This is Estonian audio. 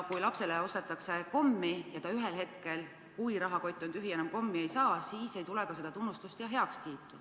Kui näiteks lapsele ostetakse kommi ja ühel hetkel, kui rahakott on tühi ja ta enam kommi ei saa, siis ei tule mingit tunnustust ega heakskiitu.